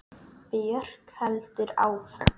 Björk heldur áfram.